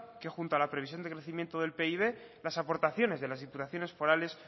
que junto a la previsión de crecimiento del pib las aportaciones de las diputaciones forales